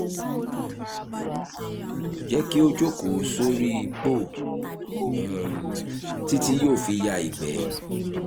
jẹ́ kí ó jókòó sórí póò um títí yóò fi ya ìgbẹ́